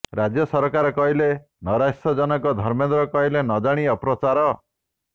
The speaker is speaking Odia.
ରାଜ୍ୟ ସରକାର କହିଲେ ନୈରାଶ୍ୟଜନକ ଧର୍ମେନ୍ଦ୍ର କହିଲେ ନ ଜାଣି ଅପପ୍ରଚାର